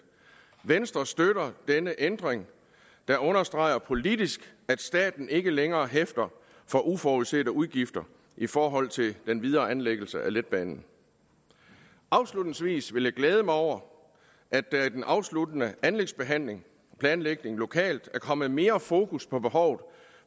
venstre støtter denne ændring der understreger politisk at staten ikke længere hæfter for uforudsete udgifter i forhold til den videre anlæggelse af letbanen afslutningsvis vil jeg glæde mig over at der i den afsluttende anlægsbehandling og planlægningen lokalt er kommet mere fokus på behovet